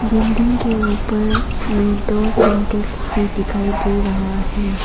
Building के ऊपर में दो सिंटेक्स भी दिखाई दे रहा है।